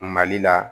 Mali la